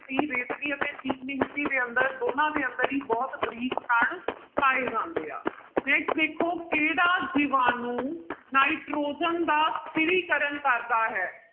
c ਰੇਤਲੀ ਅਤੇ ਚੀਕਣੀ ਮਿੱਟੀ ਦੇ ਅੰਦਰ ਦੋਨਾਂ ਦੇ ਅੰਦਰ ਹੀ ਬਹੁਤ ਬਰੀਕ ਕਣ ਪਾਏ ਜਾਂਦੇ ਆ next ਦੇਖੋ ਕਿਹੜਾ ਜੀਵਾਣੂ ਨਾਈਟ੍ਰੋਜਨ ਦਾ ਸਥਿਰੀਕਰਨ ਕਰਦਾ ਹੈ?